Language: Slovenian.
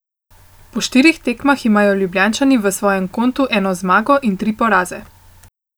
Po štirih tekmah imajo Ljubljančani na svojem kontu eno zmago in tri poraze.